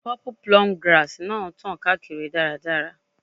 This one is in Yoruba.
Purple plume grass náà tàn káàkiri dáradára.